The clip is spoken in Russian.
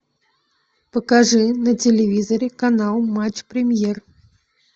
покажи на телевизоре канал матч премьер